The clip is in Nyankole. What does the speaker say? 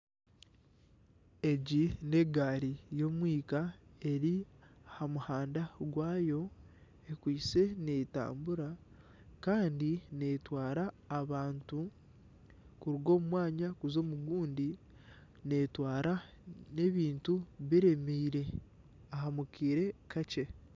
Egi n'egaari y'omwika eri aha muhanda gwaayo ekwaitse netambura kandi netwara abantu kuruga omu mwanya kuza omu gundi netwara n'ebintu biremeire omu kiire kakye.